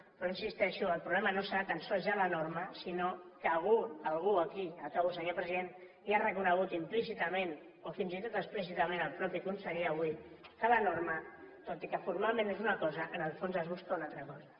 però hi insisteixo el problema no serà tan sols ja la norma sinó que algú aquí acabo senyor president ja ha reconegut implícitament o fins i tot explícitament el mateix conseller avui que amb la norma tot i que formalment és una cosa en el fons es busca una altra cosa